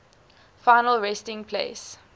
final resting place